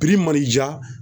mana i ja